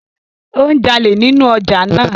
O ń jale ninu ọja naa.